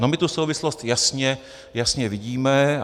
No my tu souvislost jasně vidíme.